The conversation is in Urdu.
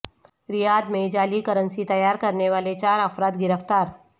ریاض میں جعلی کرنسی تیار کرنے والے چار افراد گرفتار